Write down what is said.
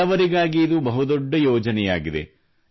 ಬಡವರಿಗಾಗಿ ಇದು ಬಹುದೊಡ್ಡ ಯೋಜನೆಯಾಗಿದೆ